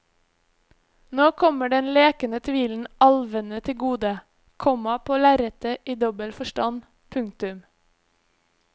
Nå kommer den lekende tvilen alvene til gode, komma på lerretet i dobbelt forstand. punktum